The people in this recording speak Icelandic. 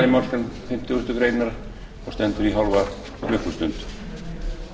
málsgrein fimmtugustu grein og stendur í hálfa klukkustund